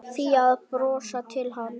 Fía að brosa til hans.